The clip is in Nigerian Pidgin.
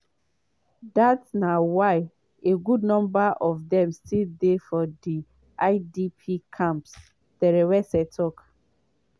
dat na why a good number of dem still dey for di idp camps” terwase tok.